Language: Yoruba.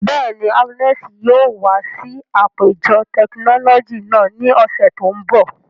Bẹ́ẹ̀ni, Agnes yóò wa si apejọ tekinọlọji naa ni ọsẹ to nbọ.